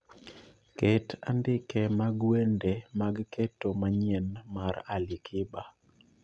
Ket andike mag wende mag keto manyien mar ali kiba